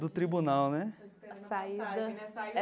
Do tribunal, né?